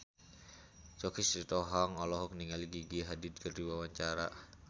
Choky Sitohang olohok ningali Gigi Hadid keur diwawancara